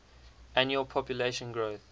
annual population growth